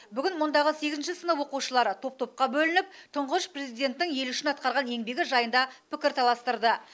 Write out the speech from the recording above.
бүгін мұндағы сегізінші сынып оқушылары топ топқа бөлініп тұңғыш президенттің ел үшін атқарған еңбегі жайында пікір таластырды